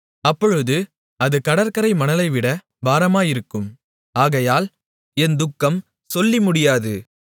அப்பொழுது அது கடற்கரை மணலைவிட பாரமாயிருக்கும் ஆகையால் என் துக்கம் சொல்லிமுடியாது